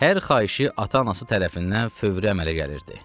Hər xahişi ata-anası tərəfindən fövrü əmələ gəlirdi.